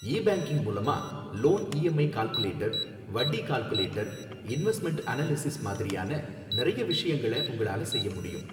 ஈ banking மூலமா loan EMI calculator, வட்டி calculator, investment analysis மாதிரியான நிறைய விஷயங்கள உங்களால செய்ய முடியும்.